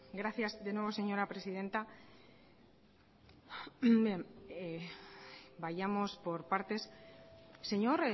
gracias de nuevo señora presidenta bien vayamos por partes señor